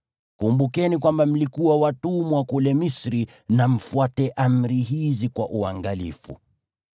Kumbukeni kwamba mlikuwa watumwa kule Misri na mfuate amri hizi kwa uangalifu.